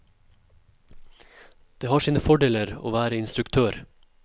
Det har sine fordeler å være instruktør.